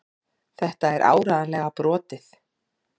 Þetta er áreiðanlega brotið.